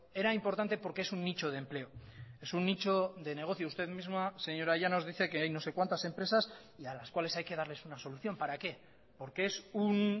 era importante porque es un nicho de empleo es un nicho de negocio usted misma señora llanos dice que hay no sé cuántas empresas y a las cuales hay que darles una solución para qué porque es un